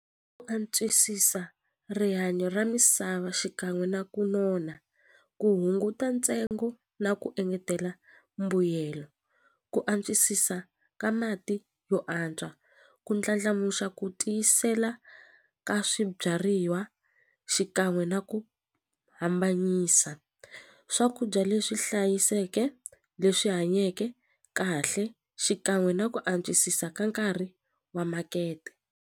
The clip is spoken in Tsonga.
antswisisa rihanyo ra misava xikan'we na ku nona ku hunguta ntsengo na ku engetela mbuyelo ku antswisisa ka mati yo antswa ku ndlandlamuxa ku tiyisela ka swibyariwa xikan'we na ku hambanyisa swakudya leswi hlayiseke leswi hanyeke kahle xikan'we na ku antswisisa ka nkarhi wa makete.